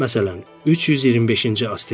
Məsələn, 325-ci asteroid.